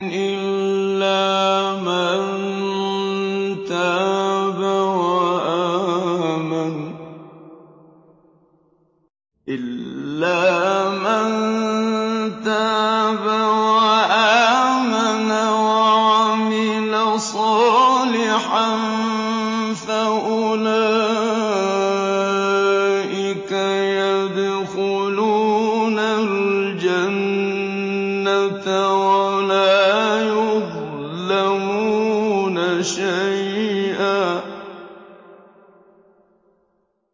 إِلَّا مَن تَابَ وَآمَنَ وَعَمِلَ صَالِحًا فَأُولَٰئِكَ يَدْخُلُونَ الْجَنَّةَ وَلَا يُظْلَمُونَ شَيْئًا